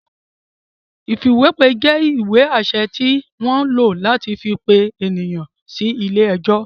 Ìfìwépè jẹ́ ìwé-àṣẹ tí wọ́n ń lò láti fi pe ènìyàn sí ilé-ẹjọ́.